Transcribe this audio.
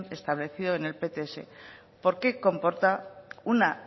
establecido en el pts porque comporta una